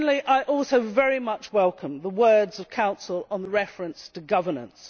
And finally I also very much welcome the words of the Council on the reference to governance.